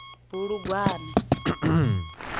bulugwane